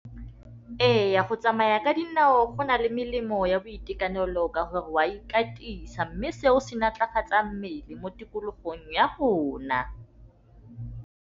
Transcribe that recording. Ee, go tsamaya ka dinao go na le melemo ya boitekanelo ka gore wa ikatisa, mme seo se maatlafatsa mmele mo tikologong ya rona.